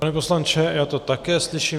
Pane poslanče, já to také slyším.